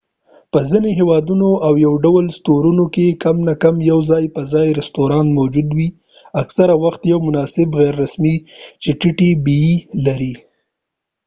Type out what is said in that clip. په ځینو هیوادونو او یوډول سټورونو کې کم نه کم یو ځای په ځای رستورانت موجود وي اکثره وخت یو مناسب غیر رسمی چې ټیټی بیې لري